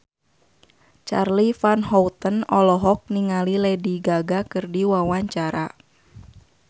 Charly Van Houten olohok ningali Lady Gaga keur diwawancara